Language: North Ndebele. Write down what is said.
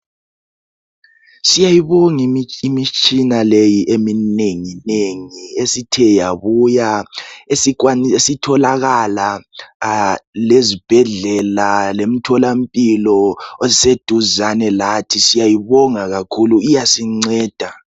Siyayibonga imitshina leyi eminenginengi esithe yabuya esitholakala lezibhedlela lemtholampilo oseduzane lathi iyasinceda.